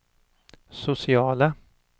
sociala